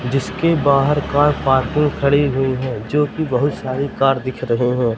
जिसके बाहर car parking खड़ी हुई हैं जो की बहुत सारी कार दिख रहे हैं।